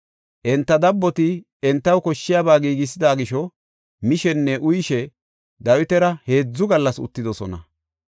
Enta dabboti entaw koshshiyaba giigisida gisho mishenne uyishe Dawitara heedzu gallas uttidosona.